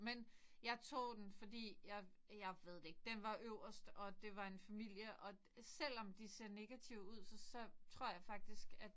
Men jeg tog den fordi jeg jeg ved det ikke den var øverst og det var en familie og selvom de ser negative ud så tror jeg faktisk at